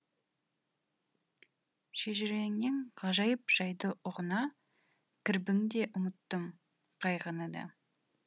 шежіреңнен ғажайып жайды ұғына кірбің де ұмыттым қайғыны да